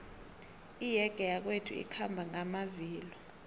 iyege yakwethu ikhamba ngamavilo